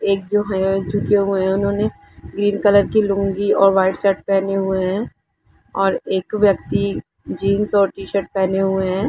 एक जो हैं झुके हुये है उन्हों ने ग्रीन कलर की लूँगी और वाईट शर्ट पहेने हुये हैं और एक व्यक्ति जीन्स और टीशर्ट पहेने हुये हैं।